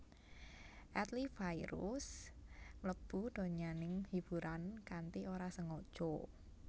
Adly Fairuz mlebu donyaning hiburan kanthi ora sengaja